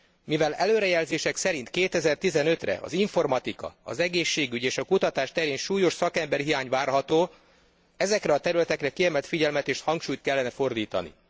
Mivel előrejelzések szerint 2015 re az informatika, az egészségügy és a kutatás terén súlyos szakemberhiány várható, ezekre a területekre kiemelt figyelmet és hangsúlyt kellene fordítani.